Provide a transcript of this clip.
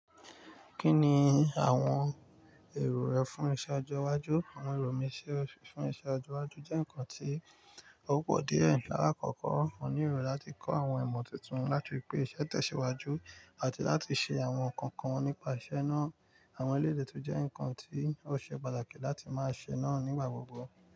Kí ni àwọn èrò rẹ fún iṣẹ́ ọjọ́ iwájú? Àwọn èrò mi fún iṣẹ́ ọjọ́ iwájú jẹ́ nǹkan tí ó pọ̀ díẹ̀. Láàkọ́kọ́, mo ní èrò láti kọ́ àwọn ìmọ̀ tuntun láti pípé iṣẹ́ tẹ̀síwájú àti láti ṣe àwọn nǹkan kan nípa iṣẹ́ náà. Àwọn eléyìí tó jẹ́ nǹkan tí ó ṣe pàtàkì láti máa ṣe náà nígbà gbogbo.